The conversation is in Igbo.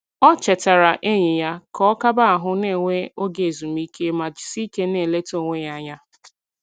O chetara enyi ya ka ọ kaba ahụ na - enwe oge ezumike ma jisieike na - eleta onwe ya anya